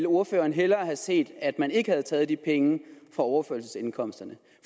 ordføreren hellere set at man ikke havde taget de penge fra overførselsindkomsterne